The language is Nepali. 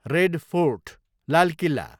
red Fort, Lal Killa